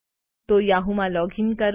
તો યાહૂમાં લોગીન કરો